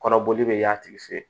Kɔrɔbɔli bɛ y'a tigi fɛ yen